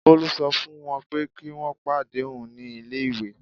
Bolu sọ fún wọ́n pé kí wọ́n pàdé òun ní ilé-ìwé.